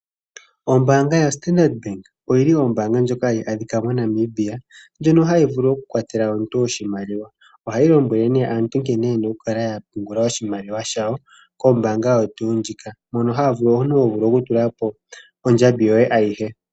Ombaanga yoStandrd bank oyo yili ombaanga ndjoka hayi adhika moNamibia ohayi lombwele nee aantu yena okukala ya pungula oshimaliwa shawo kombaanga oyo tuu ndjika moka omuntu ho vulu okutula ko ondjambi yoye ayihe .